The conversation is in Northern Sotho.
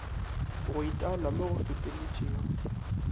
go itaola mo go feteletšego